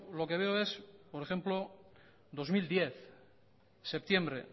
lo que veo es por ejemplo dos mil diez septiembre